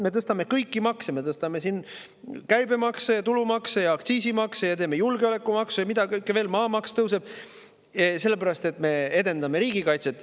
Me tõstame kõiki makse, me tõstame käibemakse ja tulumaksu ja aktsiisimakse, me teeme julgeolekumaksu ja mida kõike veel, maamaks tõuseb – sellepärast, et me edendame riigikaitset.